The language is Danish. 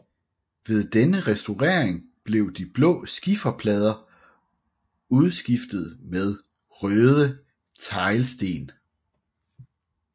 Ved denne restaurering blev de blå skifer plader udskiftet med røde teglsten